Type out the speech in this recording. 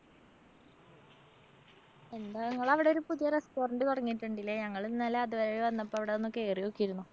എന്താ നിങ്ങളവടൊരു പുതിയ restaurant തൊടങ്ങിട്ടിണ്ട് ഇല്ലേ? ഞങ്ങളിന്നലെ അതുവഴി വന്നപ്പോ അവിടൊന്ന് കേറി നോക്കിയിരുന്നു.